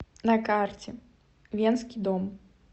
на карте венский дом